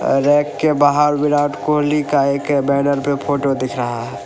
Rack के बाहर विराट कोहली का एक बैनर पे फोटो दिख रहा है।